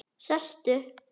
Sestu